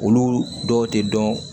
Olu dɔw tɛ dɔn